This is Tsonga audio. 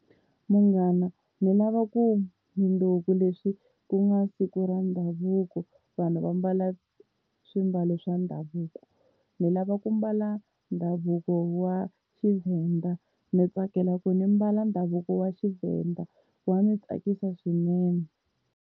Munghana ni lava ku mundzuku leswi ku nga siku ra ndhavuko vanhu va mbala swimbalo swa ndhavuko. Ni lava ku mbala ndhavuko wa Xivhenda ndzi tsakela ku ndzi mbala ndhavuko wa Xivhenda wa ndzi tsakisa swinene.